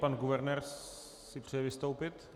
Pan guvernér si přeje vystoupit?